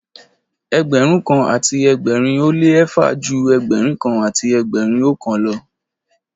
Ẹgbẹ̀rún kan àti ẹgbẹ̀rin ó lé eéfà ju Ẹgbẹ̀rún kan àti ẹgbẹ̀rin oókan lọ.